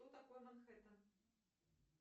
что такое манхэттэн